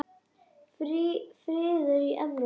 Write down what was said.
Friður í Evrópu.